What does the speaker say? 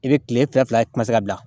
I bɛ kile fila fila ye